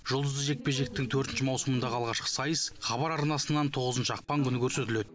жұлдызды жекпе жектің төртінші маусымындағы алғашқы сайыс хабар арнасынан тоғызыншы ақпан күні көрсетіледі